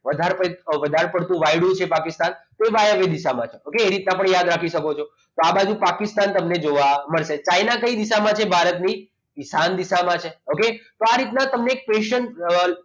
વધારે વધારે પડતું વાયડું છે પાકિસ્તાન તો વાયવ્ય દિશામાં છે okay તો આ રીતના પણ યાદ કરતો હતો તો આ બાજુ પાકિસ્તાન જોવા મળશે ચાઇના કઈ દિશામાં છે તે ભારતની ઈશાન દિશામાં છે okay તો આ રીતના તમને questions